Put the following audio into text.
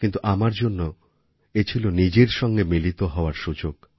কিন্তু আমার জন্য এ ছিল নিজের সঙ্গে মিলিত হওয়ার সুযোগ